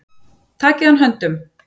Takið hann höndum.